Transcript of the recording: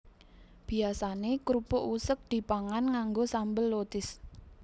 Biyasané krupuk useg dipangan nganggo sambel lotis